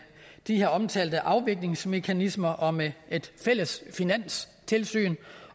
de her omtalte afviklingsmekanismer og med et fælles finanstilsyn